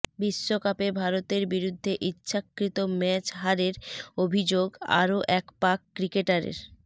বিশ্বকাপে ভারতের বিরুদ্ধে ইচ্ছাকৃত ম্যাচ হারের অভিযোগ আরও এক পাক ক্রিকেটারের